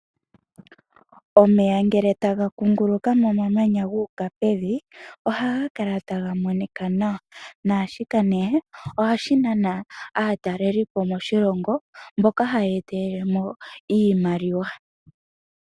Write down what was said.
Omeya ngele taga kunguluka momamanya gu uka pevi ohaga kala taga monika nawa. Naashika nee ohashi nana aatalelelipo moshilongo mboka haya etelele mo oshimaliwa.